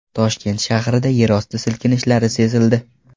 Toshkent shahrida yerosti silkinishlari sezildi .